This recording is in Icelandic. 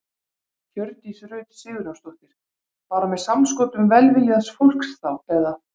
Hjördís Rut Sigurjónsdóttir: Bara með samskotum velviljaðs fólks þá eða?